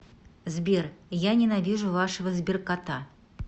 сбер я ненавижу вашего сберкота